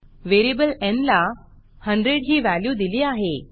variable न् ला 100 ही व्हॅल्यू दिली आहे